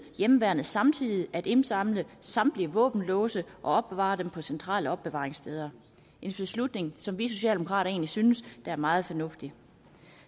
hjemmeværnet samtidig at indsamle samtlige våbenlåse og opbevare dem på centrale opbevaringssteder en beslutning som vi socialdemokrater egentlig synes er meget fornuftig